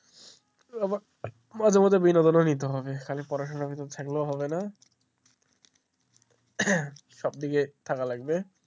মাঝে মাঝে নিতে হবে খালি পড়াশোনা ভিতর থাকলেও হবে না সব দিকে থাকা লাগবে,